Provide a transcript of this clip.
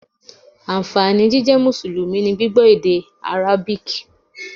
Ànfàní jíjẹ́ Mùsùlùmí ni gbígbọ́ èdè Árábù